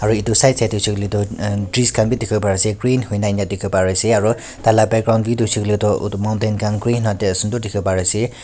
aru etu side side teh hoshele tu bridge khan bhi dikhi bo pari ase green hoina enka dikhibo pare ase aru tah lah background bhi hoishe koiley tu etu mountain khan green dikhbo pare ase.